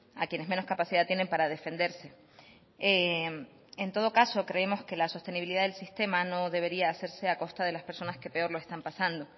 a quienes menos capacidad tienen para defenderse en todo caso creemos que la sostenibilidad del sistema no debería hacerse a costa de las personas que peor lo están pasando